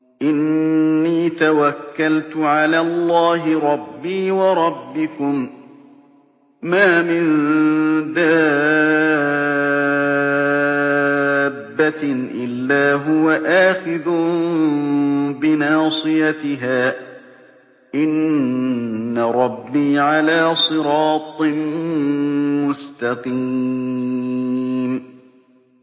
إِنِّي تَوَكَّلْتُ عَلَى اللَّهِ رَبِّي وَرَبِّكُم ۚ مَّا مِن دَابَّةٍ إِلَّا هُوَ آخِذٌ بِنَاصِيَتِهَا ۚ إِنَّ رَبِّي عَلَىٰ صِرَاطٍ مُّسْتَقِيمٍ